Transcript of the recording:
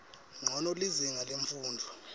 ncono lizinga lemfundvo